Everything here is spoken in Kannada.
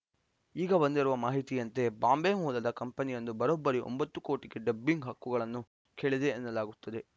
ಈಗ ಬಂದಿರುವ ಮಾಹಿತಿಯಂತೆ ಬಾಂಬೆ ಮೂಲದ ಕಂಪನಿಯೊಂದು ಬರೋಬ್ಬರಿ ಒಂಬತ್ತು ಕೋಟಿಗೆ ಡಬ್ಬಿಂಗ್‌ ಹಕ್ಕುಗಳನ್ನು ಕೇಳಿದೆ ಎನ್ನಲಾಗುತ್ತಿದೆ